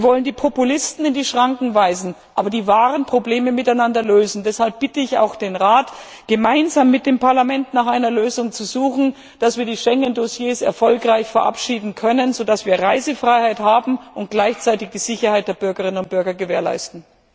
Wir wollen die Populisten in die Schranken weisen, aber die wahren Probleme miteinander lösen! Deshalb bitte ich auch den Rat, gemeinsam mit dem Parlament nach einer Lösung zu suchen, damit wir die Schengen Dossiers erfolgreich verabschieden können, sodass wir Reisefreiheit haben und gleichzeitig die Sicherheit der Bürgerinnen und Bürger gewährleisten.